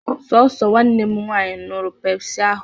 Sọọsọ Nwanne m nwannyi ñyurụ pepsị ahụ